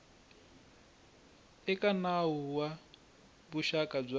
eka nawu wa vuxaka bya